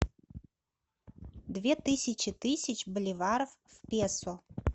две тысячи тысяч боливаров в песо